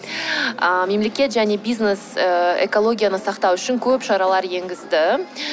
ыыы мемлекет және бизнес ыыы экологияны сақтау үшін көп шаралар енгізді